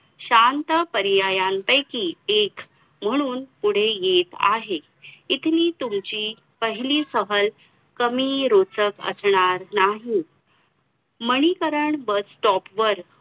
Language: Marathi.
तीन महिला होत्या.नंतर स्वतंत्राच्या नंतर